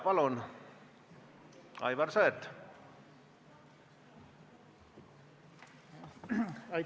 Palun, Aivar Sõerd!